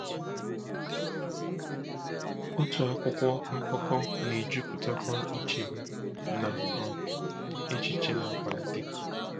Otu akwụkwọ akụkọ na-ejupụtakwa uche m na um echiche na-akwalite.